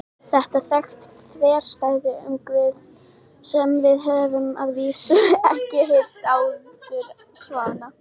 Þetta er þekkt þverstæða um Guð sem við höfum að vísu ekki heyrt áður svona.